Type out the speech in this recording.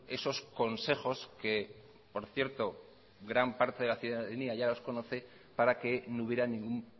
esos consejos que por cierto gran parte de la ciudadanía ya los conoce para que no hubiera ningún